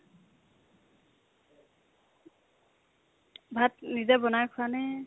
ভাত নিজে বনাই খোৱানে কি ?